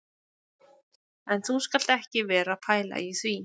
En þú skalt ekki vera að pæla í því